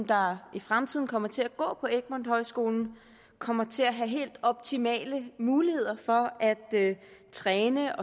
der i fremtiden kommer til at gå på egtmont højskolen kommer til at have helt optimale muligheder for at træne